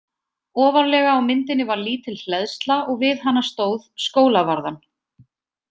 Ofarlega á myndinni var lítil hleðsla og við hana stóð: Skólavarðan.